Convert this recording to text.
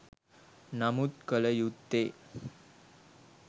නමුත් කළ යුත්තේ